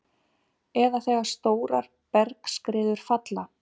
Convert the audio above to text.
eða þegar stórar bergskriður falla.